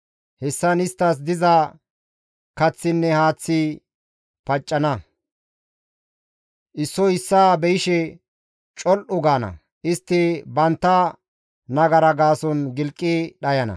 Hessan isttas diza kaththinne haaththi paccana; issoy issaa be7ishe col7u gaana; istti bantta nagara gaason gilqi dhayana.